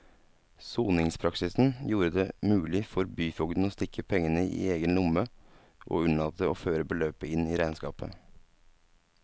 Soningspraksisen gjorde det mulig for byfogden å stikke pengene i egen lomme og unnlate å føre beløpet inn i regnskapet.